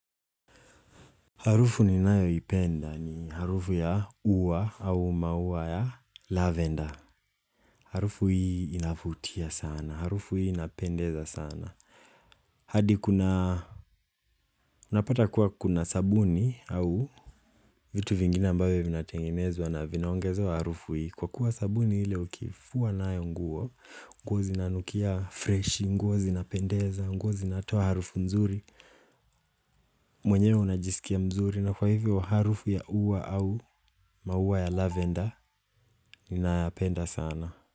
Harufu ninayoipenda ni harufu ya ua au maua ya lavender Harufu hii inavutia sana, harufu hii inapendeza sana hadi kuna, unapata kuwa kuna sabuni au vitu vingine ambavyo vinatengenezwa na vinaongezewa harufu hii kwa kuwa sabuni ile ukiifua nayo nguo, nguo zinanukia freshi, nguo zinapendeza, nguo zinatoa harufu nzuri mwenyewe unajisikia mzuri na kwa hivyo harufu ya ua au maua ya lavender ninayapenda sana.